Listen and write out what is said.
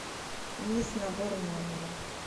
мисс набор номера